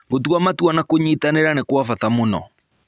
Gũtua matua na kũnyitanĩra nĩ kwa bata mũno